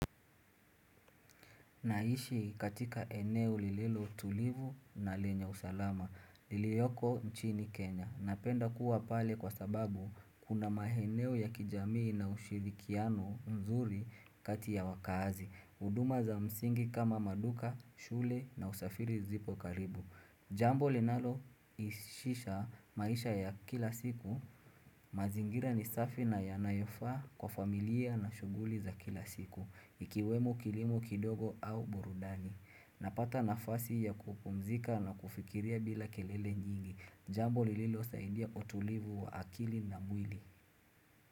Naishi katika eneo lililo tulivu na lenya usalama, lilioko nchini Kenya. Napenda kuwa pale kwa sababu kuna maeneo ya kijamii na ushirikiano mzuri kati ya wakazi. Huduma za msingi kama maduka, shule na usafiri zipo karibu. Jambo linalo isisha maisha ya kila siku, mazingira ni safi na yanayofaa kwa familia na shughuli za kila siku. Ikiwemu kilimo kidogo au burudani Napata nafasi ya kupumzika na kufikiria bila kelele njingi Jambo lililo saidia utulivu wa akili na mwili.